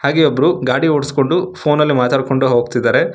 ಹಾಗೆ ಒಬ್ರು ಗಾಡಿ ಓಡುಸ್ಕೊಂಡು ಫೋನಲ್ಲಿ ಮಾತಾಡ್ಕೊಂಡ್ ಹೋಗ್ತಿದ್ದಾರೆ.